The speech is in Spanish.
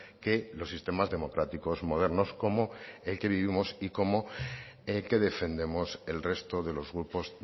que los sistemas democráticos modernos como el que vivimos y como el que defendemos el resto de los grupos